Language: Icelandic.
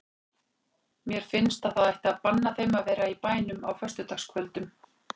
Mér finnst að það ætti að banna þeim að vera í bænum á föstudagskvöldum.